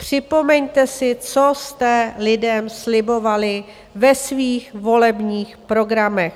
Připomeňte si, co jste lidem slibovali ve svých volebních programech.